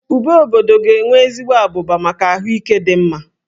Úbè obobdo ga-enwe ezigbo abụba maka ahụike dị mma